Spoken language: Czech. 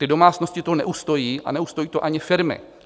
Ty domácnosti to neustojí a neustojí to ani firmy.